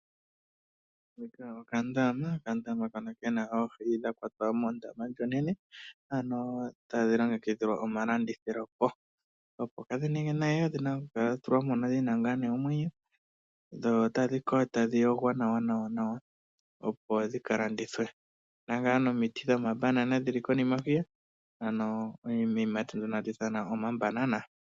Okandama ke na oohi dha kwatwa mondama ndjoka onene, ano tadhi longekidhilwa okulandithwa po. Opo kaadhi ninge nayi odhi na okukala dha tulwa mokandama dhi na omwenyo dho tadhi kala dha yogwa nawa, opo dhi ka landithwe. Opu na wo omiti dhiiyimati ndhoka hadhi ithanwa omabanana.